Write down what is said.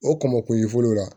O k'o makun i fɔlɔ la